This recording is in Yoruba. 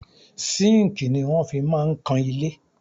Sínkìì ni wọ́n fi máa ń kan ilé.